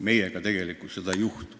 Meiega seda tegelikult ei juhtu.